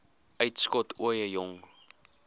uitskot ooie jong